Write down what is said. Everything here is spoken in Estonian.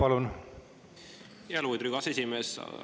Lugupeetud Riigikogu aseesimees!